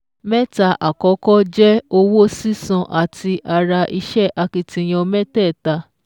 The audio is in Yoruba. Mẹ́ta àkọ́kọ́ je owó sísan láti ara ìṣe akitiyan mẹ́tẹ̀ẹ̀ta